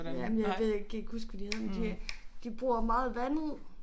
Jamen jeg jeg kan ikke huske hvad de hedder men de de bruger meget vandet